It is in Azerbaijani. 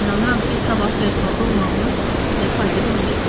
İnanıram ki, sabah Versalda olmağınız sizə fayda verəcək.